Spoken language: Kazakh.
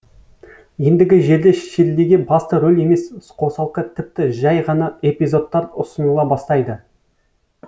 ендігі жерде ширлиге басты роль емес қосалқы тіпті жай ғана эпизодтар ұсыныла бастайды